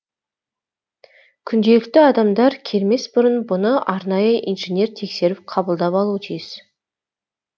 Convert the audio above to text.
күнделікті адамдар келмес бұрын бұны арнайы инженер тексеріп қабылдап алуы тиіс